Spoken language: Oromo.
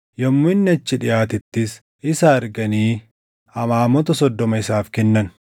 Yommuu inni achi dhiʼaatettis isa arganii amaamota soddoma isaaf kennan.